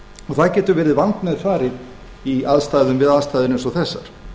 það getur verið vandmeðfarið við aðstæður eins og þessar